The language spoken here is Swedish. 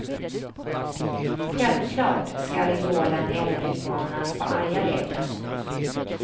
Självklart skall idolen även utmanas på arga leken.